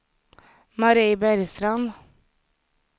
Marie Bergstrand